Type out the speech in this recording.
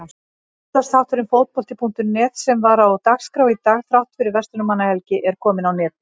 Útvarpsþátturinn Fótbolti.net sem var á dagskrá í dag þrátt fyrir Verslunarmannahelgi er kominn á netið.